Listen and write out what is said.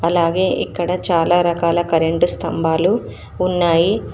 అలాగే ఇక్కడ చాలా రకాల కరెంట్ స్తంభాలు ఉన్నాయి.